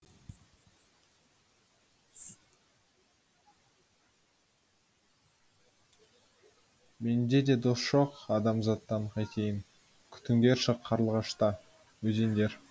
мен де дос жоқ адамзаттан қайтейін күтіңдерші қарлығашта өзендер